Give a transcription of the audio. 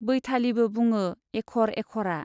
बैथालि' बो बुङो एख'र एख'रा।